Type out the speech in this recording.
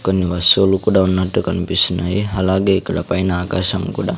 కొన్ని వస్తువులు కూడా ఉన్నట్టు కన్పిస్తున్నాయి అలాగే ఇక్కడ పైన ఆకాశం కూడా--